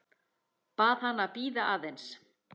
Bað hana að bíða aðeins.